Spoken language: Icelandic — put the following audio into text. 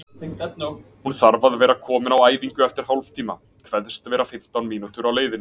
Hún þarf að vera komin á æfingu eftir hálftíma, kveðst vera fimmtán mínútur á leiðinni.